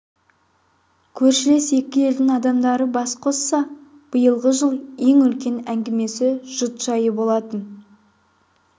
көршілес екі елдің адамдары бас қосса биылғы жыл ең үлкен әңгімесі жұт жайы болатын